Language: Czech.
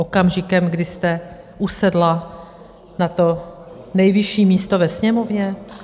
Okamžikem, kdy jste usedla na to nejvyšší místo ve Sněmovně?